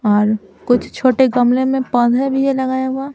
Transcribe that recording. और कुछ छोटे गमले में पौधे भी ये लगाये --